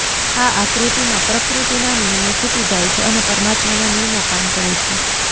આ આકૃતિમાં પ્રકૃતિના નિયમો છૂટી જાય છે અને પરમાત્માના નિયમો કામ કરે છે